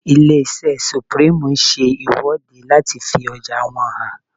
Ilé-iṣẹ́ Supreme ń ṣe ìwọ́de láti fi ọjà wọn hàn